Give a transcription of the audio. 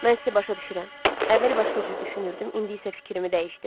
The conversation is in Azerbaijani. Mən sizi başa düşürəm, əvvəl başqa cür düşünürdüm, indi isə fikrimi dəyişdim.